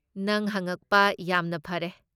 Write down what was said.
ꯅꯪ ꯍꯉꯛꯄ ꯌꯥꯝꯅ ꯐꯔꯦ꯫